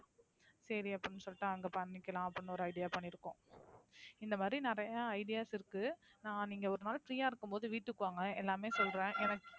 சரி அப்படின்னு சொல்லிட்டு அங்க பண்ணிக்கலாம் அப்படின்னு ஒரு idea பண்ணிருக்கோம். இந்தமாதிரி நிறைய ideas இருக்கு. நீங்க ஒரு நாள் free யா இருக்கும்போது வீட்டுக்கு வாங்க எல்லாமே சொல்றேன். எனக்கு